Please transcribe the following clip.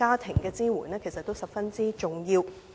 這些支援其實十分重要。